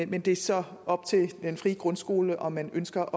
men det er så op til den frie grundskole om man ønsker